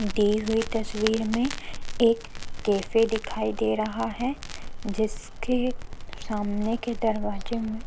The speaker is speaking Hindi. दी हुई तस्वीर में एक कैफ़े दिखाई दे रहा है जिसके सामने के दरवाज़े में --